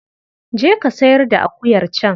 Je ka sayar da akuyar can.